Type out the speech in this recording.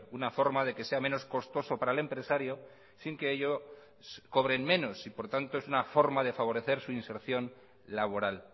una forma de que sea menos costoso para el empresario sin que ello cobren menos y por tanto es una forma de favorecer su inserción laboral